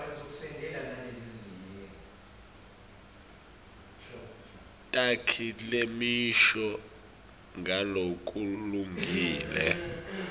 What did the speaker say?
takhi temisho ngalokulungile